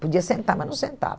Podia sentar, mas não sentava.